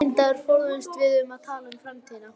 Þá verð ég að biðja þig afsökunar.